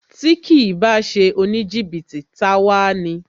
Tí kìí bá ṣe oníjìbìtì, ta a wá ni